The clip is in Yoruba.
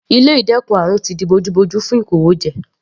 Ilé ìdẹ́kun àrùn ti di bojú bojú fún ìkówójẹ.